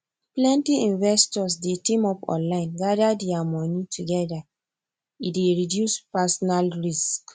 plenty investors dey team up online gather their money together e dey reduce personal risk